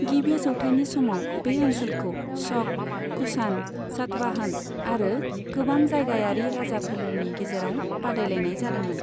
गिबि जौथाइनि समाव बे ओनसोलखौ शक, कुषाण, सातवाहन आरो गोबां जायगायारि राजाफोलेरनि गेजेराव बादायलायनाय जादोंमोन।